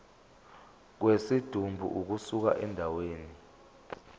kwesidumbu ukusuka endaweni